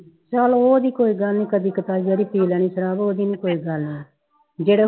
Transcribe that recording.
ਚੱਲੋ ਉਹ ਨਹੀ ਕੋਈ ਗੱਲ ਕਦੀ ਕਦਾਈਂ ਜਿਹੜੀ ਪੀ ਲੈਣੀ ਸ਼ਰਾਬ ਉਹਦੀ ਕੋਈ ਗੱਲ ਨਹੀਂ ਜਿਹੜਾ